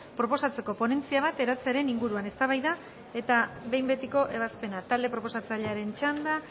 proposatzeko ponentzia bat eratzearen inguruan eztabaida eta behin betiko ebazpena talde proposatzailearen txanda